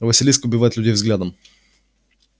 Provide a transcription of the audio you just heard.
василиск убивает людей взглядом